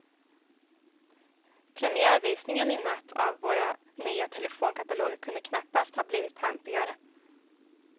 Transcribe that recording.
Premiärvisningen i natt av våra nya telefonkataloger kunde knappast ha blivit pampigare.